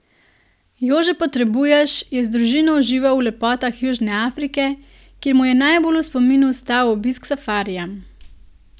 Jože Potrebuješ je z družino užival v lepotah Južne Afrike, kjer mu je najbolj v spominu ostal obisk safarija.